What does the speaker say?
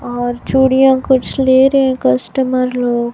और चूड़ियां कुछ ले रहे कस्टमर लोग।